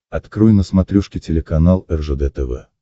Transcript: открой на смотрешке телеканал ржд тв